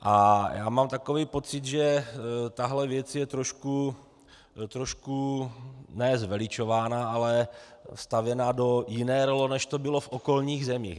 A já mám takový pocit, že tahle věc je trošku ne zveličována, ale stavěna do jiné role, než to bylo v okolních zemích.